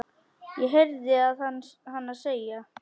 heyrði ég að hana segja.